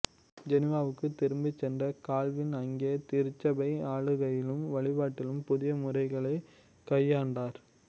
ஜெனீவாவுக்குத் திரும்பிச் சென்ற கால்வின் அங்கே திருச்சபை ஆளுகையிலும் வழிபாட்டிலும் புதிய முறைகளைக் கையாண்டார்